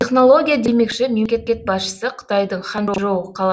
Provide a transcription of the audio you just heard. технология демекші мемлекекет басшысы қытайдың ханчжоу қала